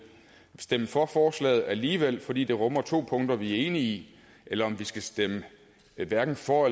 stemme for forslaget alligevel fordi det rummer to punkter vi er enige i eller om vi skal stemme hverken for